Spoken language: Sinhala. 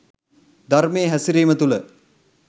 ධර්මයේ හැසිරීම තුළ